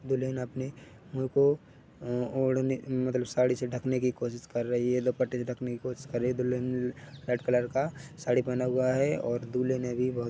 दुल्हन अपने मुह को ओढ़ने मतलब साड़ी से ढकने कि कोसिस कर रही है दुपट्टे से ढकने कि कोसिस कर रही है दुल्हन रेड कलर का साड़ी पहन हुआ है और दूल्हे ने भी बहोत--